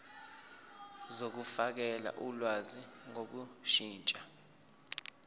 zokufakela ulwazi ngokushintsha